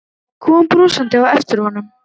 Kom brosandi á eftir honum.